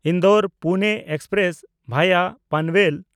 ᱤᱱᱫᱳᱨ–ᱯᱩᱱᱮ express (ᱵᱷᱟᱭᱟ Panvel)